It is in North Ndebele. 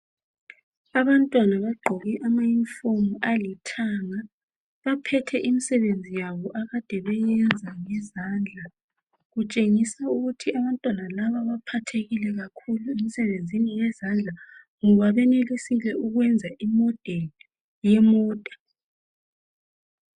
Abantwana bagqoke amayunifomu alithanga baphethe imisebenzi yabo abakade beyiyenza ngezandla kutshengiswa ukuthi abantwana laba baphathekile kakhulu imsebenzini wezandla ngoba bayenelisile ukwenza imodeli yemota.